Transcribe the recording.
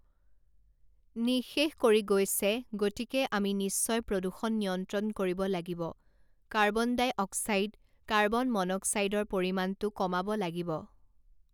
নিঃশেষ কৰি গৈছে গতিকে আমি নিশ্চয় প্ৰদূষণ নিয়ন্ত্ৰণ কৰিব লাগিব কাৰ্বন ডাই অক্সাইড কাৰ্বন মন'ক্সাইডৰ পৰিমাণটো কমাব লাগিব